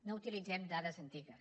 no utilitzem dades antigues